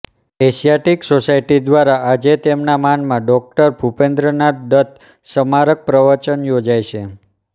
Asiatic Society દ્વારા આજે તેમના માનમાં ડો ભૂપેન્દ્રનાથ દત્ત સ્મારક પ્રવચન યોજાય છે